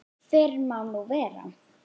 Fyrr má nú vera!